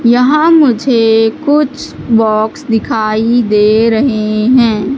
यहां मुझे कुछ बॉक्स दिखाई दे रहे हैं।